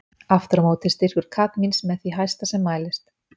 aftur á móti er styrkur kadmíns með því hæsta sem mælist